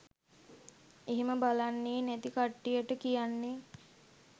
එහෙම බලන්නේ නැති කට්ටියට කියන්නේ